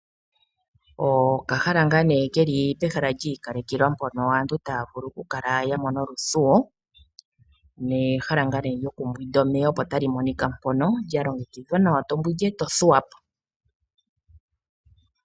Okahala ngaa nee keli pehala lyiikalekelwa mpono aantu taya vulu oku kala ya mona oluthuwo nehala ngaa nee lyoku mbwinda omeya opo tali monika mpono lya longekidhwa nawa, to mbwindi eto thuwa po.